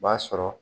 B'a sɔrɔ